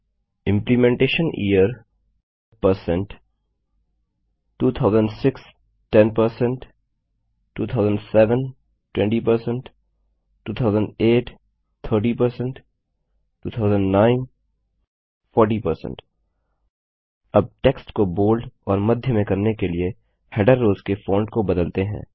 implementation year 2006 10 2007 20 2008 30 2009 40 अब text को bold और मध्य में करने के लिए हेडर रोव्स के फॉन्ट को बदलते हैं